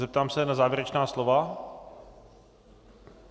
Zeptám se na závěrečná slova.